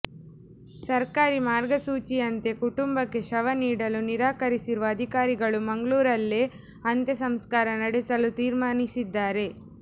ಸರ್ಕಾರಿ ಮಾರ್ಗಸೂಚಿಯಂತೆ ಕುಟುಂಬಕ್ಕೆ ಶವ ನೀಡಲು ನಿರಾಕರಿಸಿರುವ ಅಧಿಕಾರಿಗಳು ಮಂಗಳೂರಲ್ಲೇ ಅಂತ್ಯ ಸಂಸ್ಕಾರ ನಡೆಸಲು ತೀರ್ಮಾನಿಸಿದ್ದಾರೆ